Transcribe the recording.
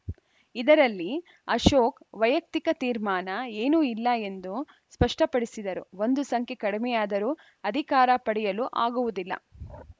ಇದರಲ್ಲಿ ಅಶೋಕ್‌ ವೈಯಕ್ತಿಕ ತೀರ್ಮಾನ ಏನೂ ಇಲ್ಲ ಎಂದು ಸ್ಪಷ್ಟಪಡಿಸಿದರು ಒಂದು ಸಂಖ್ಯೆ ಕಡಿಮೆಯಾದರೂ ಅಧಿಕಾರ ಪಡೆಯಲು ಆಗುವುದಿಲ್ಲ